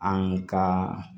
An ka